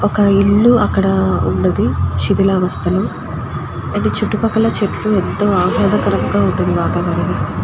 ఒక ఇల్లు అక్కడ వున్నది చిదిలవస్థ లెహ్ చుట్టూ పక్కల చెట్లు ఎంతో ఆహ్లాదకరంగా ఉంది వాతావరణం.